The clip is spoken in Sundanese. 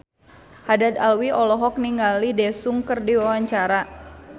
Haddad Alwi olohok ningali Daesung keur diwawancara